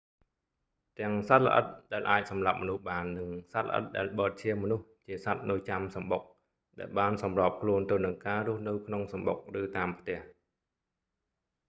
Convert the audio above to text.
ទាំងសត្វល្អិតដែលអាចសម្លាប់មនុស្សបាន និងសត្វល្អិតដែលបឺតឈាមមនុស្ស ជាសត្វនៅចាំសំបុក ដែលបានសម្របខ្លួនទៅនឹងការរស់នៅក្នុងសំបុក ឬតាមផ្ទះ